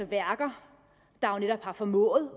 værker der netop har formået